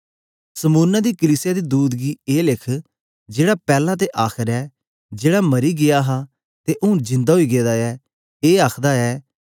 Smyrna दी कलीसिया दे दूत गी ए लिख जेहड़ा पैला ते आखर ऐ जेहड़ा मरी गीया हा ते ऊँन जिंदा ओई गेदा ऐ इह ए आखदा ऐ के